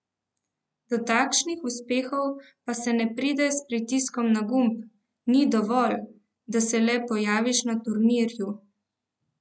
Do takšnih uspehov pa se ne pride s pritiskom na gumb, ni dovolj, da se le pojaviš na turnirju.